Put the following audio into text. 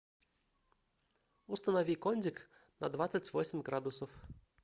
установи кондик на двадцать восемь градусов